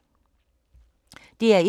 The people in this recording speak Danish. DR1